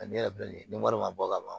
ne yɛrɛ filɛ nin ye ni wari ma bɔ ka ban